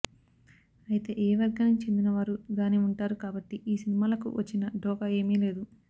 అయితే ఏ వర్గానికి చెందిన వారు దాని ఉంటారు కాబట్టి ఈ సినిమాలకు వచ్చిన ఢోకా ఏమీ లేదు